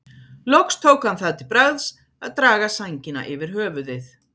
Loks tók hann það til bragðs að draga sængina yfir höfuðið.